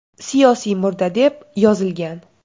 Siyosiy murda” deb yozilgan.